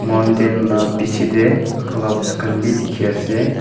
mountain la bichae tae clouds bi dikhiase.